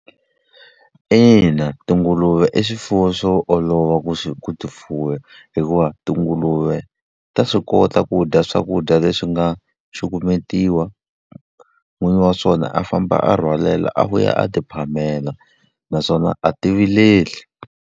Ina, tinguluve i swifuwo swo olova ku swi ku ti fuwa hikuva tinguluve ta swi kota ku dya swakudya leswi nga cukumetiwa, n'wini wa swona a famba a rhwalela a vuya a ti phamela, naswona a ti vileli.